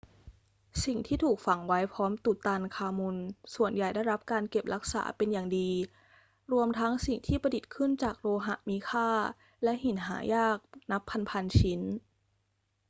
สิ่งที่ถูกฝังไว้พร้อมตุตันคามุนส่วนใหญ่ได้รับการเก็บรักษาเป็นอย่างดี รวมทั้งสิ่งที่ประดิษฐ์ขึ้นจากโลหะมีค่าและหินหายากนับพัน ๆ ชิ้น